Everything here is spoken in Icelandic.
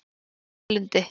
Þrastalundi